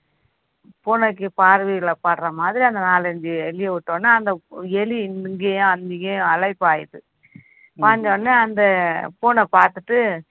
பூனைக்கு பார்வையில படுற மாதிரி அந்த நாலு அஞ்சு எலிய விட்ட உடனே அந்த எலி இங்கேயும் அங்கேயும் அலைப்பாயுது பாய்ந்த உடனே அந்த பூனை பார்த்துட்டு